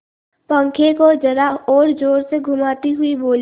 पंखे को जरा और जोर से घुमाती हुई बोली